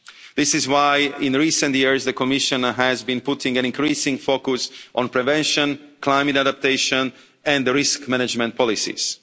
This is why in recent years, the Commissioner has been putting an increasing focus on prevention, climate adaptation and the risk management policies.